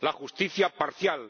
la justicia, parcial